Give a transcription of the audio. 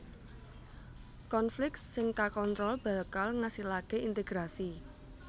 Konflik sing kakontrol bakal ngasilaké integrasi